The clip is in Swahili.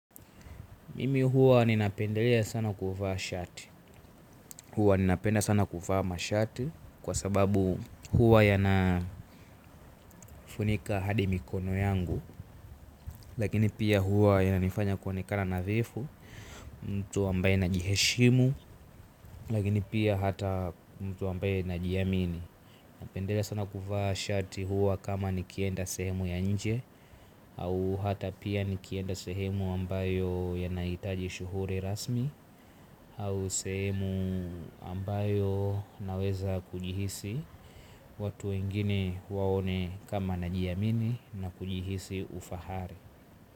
Mimi huwa ninapendelea sana kuvaa shati. Huwa ninapenda sana kuvaa mashati. Kwa sababu huwa yanafunika hadi mikono yangu. Lakini pia huwa yananifanya kuonekana nadhifu. Mtu ambaye najiheshimu lakini pia hata mtu ambaye najiamini napendelea sana kuvaa shati huwa kama nikienda sehemu ya nje. Au hata pia nikienda sehemu ambayo yanaitaji shughuri rasmi au sehemu ambayo naweza kujihisi watu wengine waone kama najiamini na kujihisi ufahari.